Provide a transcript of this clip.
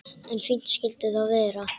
En fínt skyldi það vera!